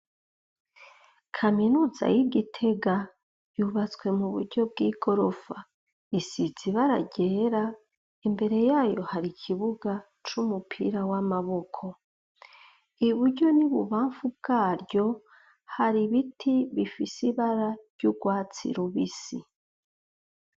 Kaminuza y'i Gitega yubatse mu buryo bw'igorofa. Isize ibara ryera, imbere y'ayo hari ikibuga c'umupira w'amaboko. I buryo n'i bubamfu bwaryo hari ibiti bifise ibara ry'urwatsi rubisi.